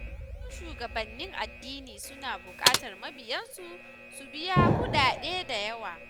Wasu shugabannin addini suna buƙatar mabiyansu su biya kuɗaɗe da yawa.